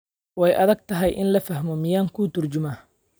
Way adag tahay in la fahmo, miyaan kuu turjumaa?